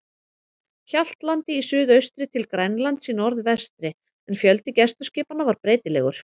Hjaltlandi í suðaustri til Grænlands í norðvestri, en fjöldi gæsluskipanna var breytilegur.